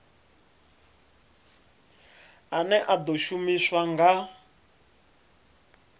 ane a ḓo shumiswa nga